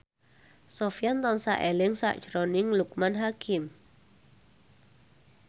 Sofyan tansah eling sakjroning Loekman Hakim